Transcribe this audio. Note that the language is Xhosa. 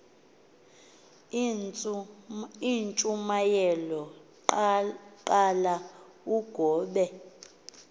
intshumayelo qala ugobe